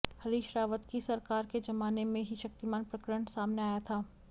हरीश रावत की सरकार के जमाने में ही शक्तिमान प्रकरण सामने आया था